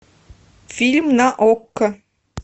фильм на окко